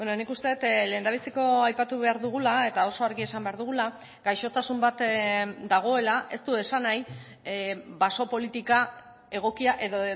nik uste dut lehendabiziko aipatu behar dugula eta oso argi esan behar dugula gaixotasun bat dagoela ez du esan nahi baso politika egokia edo